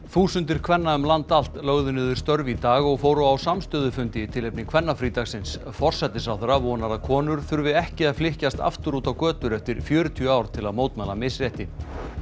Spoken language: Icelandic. þúsundir kvenna um land allt lögðu niður störf í dag og fóru á samstöðufundi í tilefni kvennafrídagsins forsætisráðherra vonar að konur þurfi ekki að flykkjast aftur út á götur eftir fjörutíu ár til að mótmæla misrétti